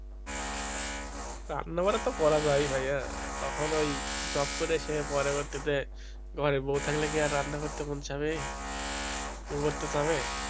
রান্নাবারা তো করা যায় ভাইয়া তখন ওই job করে এসে পরবর্তীতে ঘরে বউ থাকলে কি আর রান্না করতে মন চাইবে কিছু করতে তো হবে,